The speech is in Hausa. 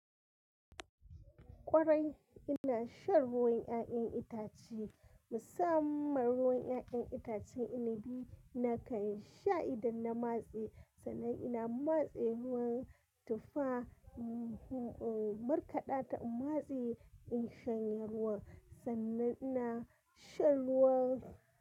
Kwarai ina shan ruwan 'ya'yan itace, musamman ruwan 'ya'yan itacen inabi na kan sha idan na matse, sannan ina matse ruwan tufa, uhm, uhm, markaɗa ta matse in shanye ruwan, sannan ina shan ruwan.